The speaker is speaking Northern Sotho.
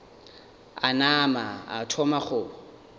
a nama a thoma go